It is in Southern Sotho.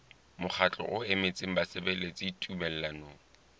mokgatlo o emetseng basebeletsi tumellanong